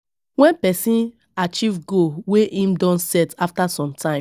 When person achieve goal wey im don set after some time